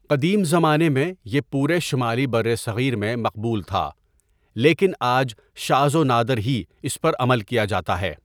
قدیم زمانے میں یہ پورے شمالی برصغیر میں مقبول تھا، لیکن آج شاذ و نادر ہی اس پر عمل کیا جاتا ہے۔